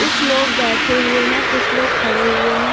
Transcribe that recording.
कुछ लोग बैठे हुए हैं कुछ लोग खड़े हुए हैं।